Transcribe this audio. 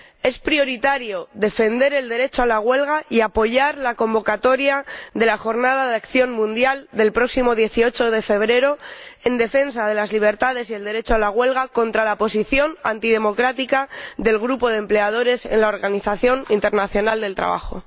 Es prioritario defender el derecho a la huelga y apoyar la convocatoria de la Jornada de acción mundial del próximo 18 de febrero, en defensa de las libertades y del derecho a la huelga, contra la posición antidemocrática del Grupo de Empleadores de la Organización Internacional del Trabajo.